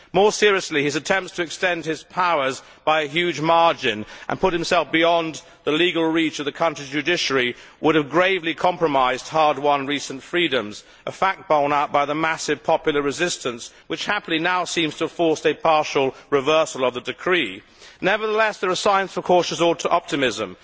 More seriously, his attempts to extend his powers by a huge margin and put himself beyond the legal reach of the country's judiciary would have gravely compromised hard won recent freedoms, a fact borne out by the massive popular resistance, which happily now seems to have forced a partial reversal of the decree. Nevertheless, there are signs for cautious optimism.